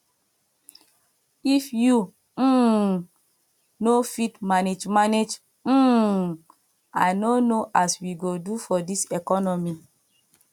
if you um no fit manage manage um i no know as we go do for dis economy